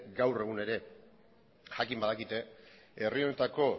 gaur egun ere jakin badakite herri honetako